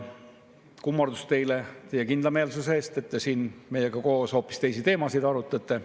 Kummardus teile teie kindlameelsuse eest, et te siin meiega koos hoopis teisi teemasid arutate.